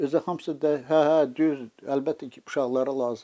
Özü də hamısı hə, hə, düz, əlbəttə ki, uşaqlara lazımdır.